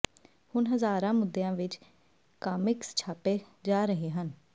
ਹੁਣ ਹਜ਼ਾਰਾਂ ਮੁੱਦਿਆਂ ਵਿੱਚ ਕਾਮਿਕਸ ਛਾਪੇ ਜਾ ਰਹੇ ਹਨ